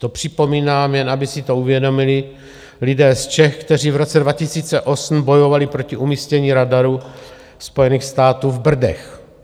To připomínám, jen aby si to uvědomili lidé z Čech, kteří v roce 2008 bojovali proti umístění radaru Spojených států v Brdech.